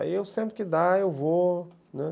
Aí eu sempre que dá, eu vou, né.